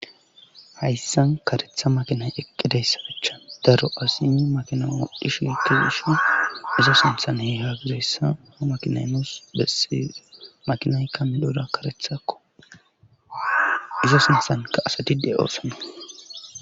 Hayssan karetha makinay eqqideyssafechan daro asimi makina modhishi tiwushi izo sinthan he haagizayssa makinaymos bessi makinaykka midoda karethakko izo sinthanka asatide oosan.